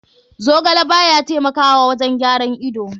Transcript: Zogale baya taimakawa wajen gyaran ido.